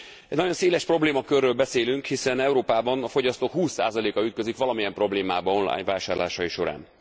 Egy nagyon széles problémakörről beszélünk, hiszen Európában a fogyasztók 20 a ütközik valamilyen problémába online vásárlásai során.